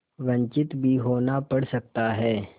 वंचित भी होना पड़ सकता है